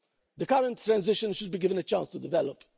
The current transition should be given a chance to develop.